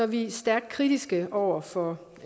vi stærkt kritiske over for